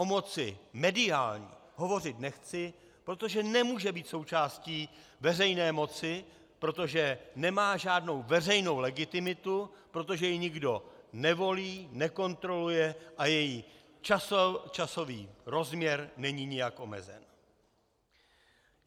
O moci mediální hovořit nechci, protože nemůže být součástí veřejné moci, protože nemá žádnou veřejnou legitimitu, protože ji nikdo nevolí, nekontroluje a její časový rozměr není nijak omezen.